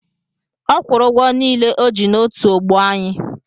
Ọ kwụrụ ụgwọ niile o ji n'otu ọgbọ anyị.